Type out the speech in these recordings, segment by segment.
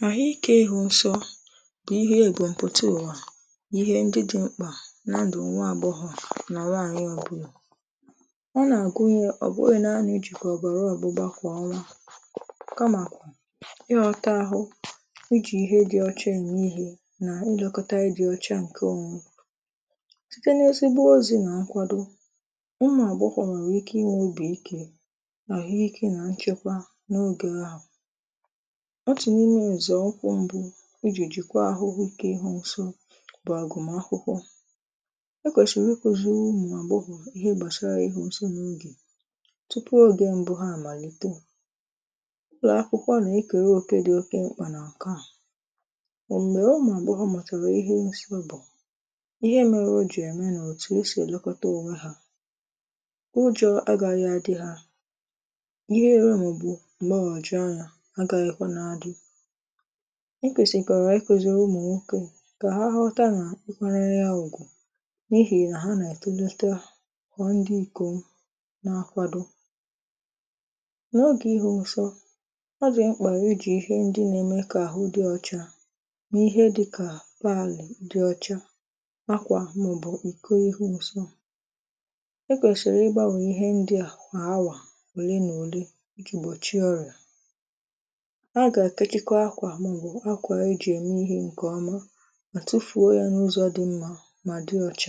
nà àhụ ikė ịhụ̇ nsọ bụ ihe mbum pụta ụwà ihe ndị dị̇ mkpà n’ndụ̀ nwa àbọghọ̀ nà nwaànyị ọbụla ọ nà-àgụnye,ọ̀ bụghị̇ nȧ-ȧnà ijìkwè ọ̀bàrà ọ̀gbụgba kwà ọnwa kamàkwà ị ghọta ahụ̇ ijì ihe dị̇ ọcha eme ihė nà ịlekọta ihe dị̇ ọchȧ ǹke onwe site n’ezigbo ọzị̀ nà nkwado ụmụ àgbọghọ̀ nwèrè ike inwė obì ike àhụ ike nà nchekwa n’ogè ahụ̀ ọtụ n’ime nzọ ụkwụ mbụ iji jikwaa ahụhụ nke ịhụ nsọ bụ agụmakwụkwọ e kwesịrị ịkụzi ụmụ agbọghọ ihe gbasara ịhụ nsọ n’oge tupu oge mbụ ha amalite ụlọakwụkwọ na ekere oke dị oke mkpa n’nke a ma mgbe ụmụ agbọghọ matara ihe nsọ bụ ihe mere ọ jì eme n’otù e si elekọta onwe ha ụjọ agaghị adị ha ihere ma ọ bụ mgbagwoju anya agaghịkwanụ adị i kwèsịkwàrà ịkụzìrì ụmụ̀ nwokė kà ha ghọta nà ịkwanyere ya ùgwù n’ihì nà ha nà-ètolite kwà ndị ikò n’akwado n’ogè ịhụ nsọ ọ dị mkpà i jì ihe ndị na-eme kà àhụ dị ọcha mà ihe dịkà pàlị̀ dị ọcha akwà m̀ụbụ̀ iko ịhụ nsọ e kwèsịrị ịgbȧnwe ihe ndịa kwà awà ole nà òle iji gbọchie ọrịà aga etechikwa akwà na ọ bụ Akwa e jì ème ihė ǹkè ọma mà tufùo ya n’ụzọ̇ dị mmȧ mà dị ọchȧ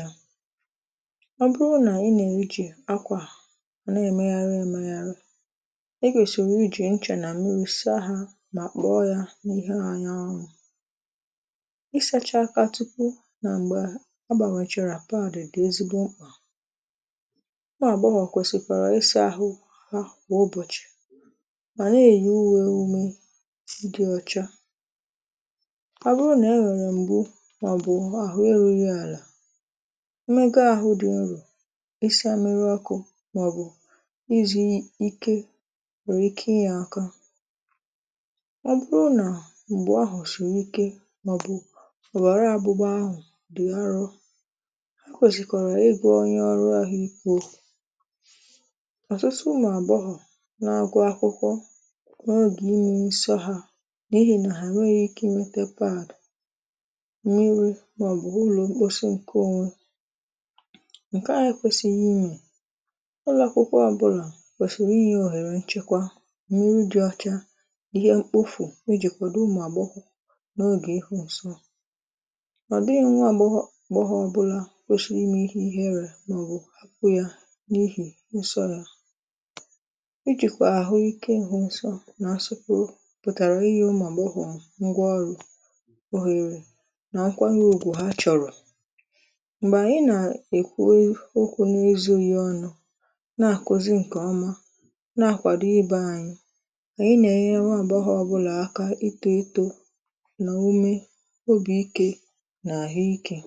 ọ bụrụ nà ị na-èjì akwà à na-èmegharị emegharị e kwesịrị ijì nchà nà mmiri saa hȧ mà kpọọ ya n’ihe anyanwụ ị sȧcha aka tupu nà m̀gbè a gbàghàchàrà pàdì dị ezigbo mkpà nwa àgbaghọ̀ kwèsịkwàrà ịsȧ ȧhụ hȧ kwà ụbọ̀chị̀ ma na-eyi uwe ime dị ọcha ọ bụrụ nà e nwèrè m̀gbu màọbụ̀ àhụ eru̇ghị àlà emega ahụ̇ dị̀ nrọ̀ ịsa mmiri ọkụ̇ màọbụ̀ izì ike nwèrè ike ịyė aka ọ bụrụ nà m̀gbu ahụ̀ sìrì ike màọbụ̀ òbàrà ọgbụgba ahụ̀ dị arụ ha kwèsịkwara ịgwa onye ọrụ ahụ̀ ike okwu ọtụtụ ụmụ agbọghọ na-agụ akwụkwọ n’oge ịnwe nsọ ha n’ihì nà ha enweghị ike nwete pad mmiri̇ màọbụ̀ ulọ̀ mkposi nke onwe ǹkè ahụ ekwesịghị ịme ụlọ akwụkwọ ọbụlà kwèsịrị ịnye òhèrè nchekwa mmiri dị ọcha ihe mkpofù ijì kwàdo ụmụ àgbọghọ n’ogè ịhụ nsọ ọ̀ dịghị nwa agbọghọ ọ bụla kwesịrị imè iherè màọbụ̀ àkpụ yȧ n’ihì nsọ yȧ ijìkwà àhụike ịhụ nsọ nà asọ pụtara ịnye ụmụ agbọghọ ngwa ọrụ ohere na nkwanye ugwù ha chọ̀rọ̀ m̀gbè ànyị nà-èkwu okwu̇ n’ezughị ọnụ̇ nà-àkụzị ǹkè ọma nà-akwàdo ịbė anyị nà-ènyere nwa agbọghọ ọ̀bụlà aka ịto eto n’ume obì ike nà àhụ ikė